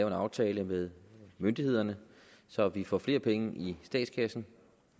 en aftale med myndighederne så vi får flere penge i statskassen